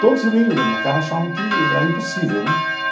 Todos riam da minha cara, achavam que era impossível, né?